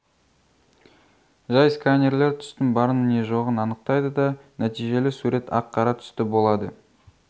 жай сканерлер түстің барын не жоғын анықтайды да нәтижелі сурет ақ-қара түсті болады